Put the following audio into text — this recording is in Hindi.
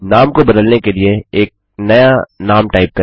नाम को बदलने के लिए एक नया नाम टाइप करें